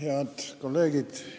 Head kolleegid!